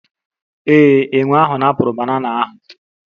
Ee, enwe ahụ napụrụ banana ahụ